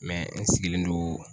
n sigilen do